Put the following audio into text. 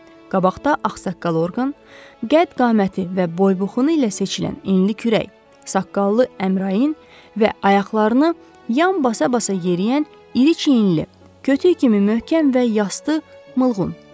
Qabaqda ağsaqqal Orqan, qədd-qaməti və boy-buxunu ilə seçilən enli kürək, saqqallı Əmrain və ayaqlarını yan basa-basa yeriyən iri çiyinli, kötükl kimi möhkəm və yastı Mılqun.